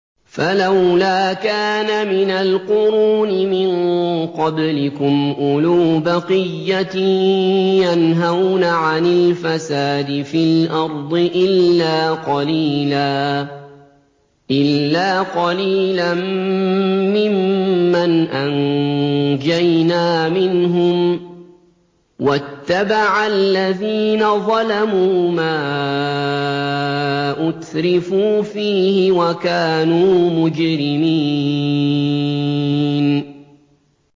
فَلَوْلَا كَانَ مِنَ الْقُرُونِ مِن قَبْلِكُمْ أُولُو بَقِيَّةٍ يَنْهَوْنَ عَنِ الْفَسَادِ فِي الْأَرْضِ إِلَّا قَلِيلًا مِّمَّنْ أَنجَيْنَا مِنْهُمْ ۗ وَاتَّبَعَ الَّذِينَ ظَلَمُوا مَا أُتْرِفُوا فِيهِ وَكَانُوا مُجْرِمِينَ